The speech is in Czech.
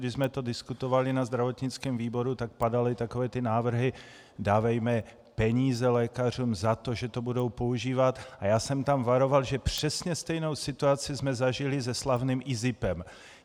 Když jsme to diskutovali na zdravotnickém výboru, tak padaly takové ty návrhy "dávejme peníze lékařům za to, že to budou používat" a já jsem tam varoval, že přesně stejnou situaci jsme zažili se slavným IZIPem.